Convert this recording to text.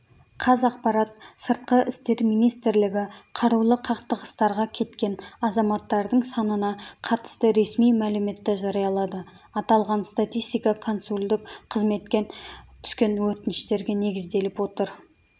қазақпарат сыртқы істер министрілігі қарулы қақтығыстарға кеткен азаматтардың санына қатысты ресми мәліметті жариялады аталған статистика консулдық қызметкен түскен өтініштерге негізделіп отыр